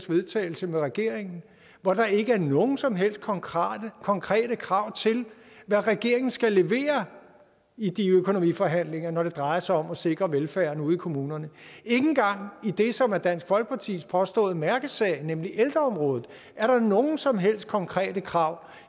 vedtagelse med regeringen hvori der ikke er nogen som helst konkrete konkrete krav til hvad regeringen skal levere i de økonomiforhandlinger når det drejer sig om at sikre velfærden ude i kommunerne ikke engang i det som er dansk folkepartis påståede mærkesag nemlig ældreområdet er der nogen som helst konkrete krav